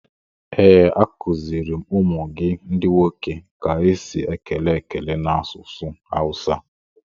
Ee, a kuziri m ụmụ gị ndi nwoke ka esi ekele ekele n'asụsụ Awusa.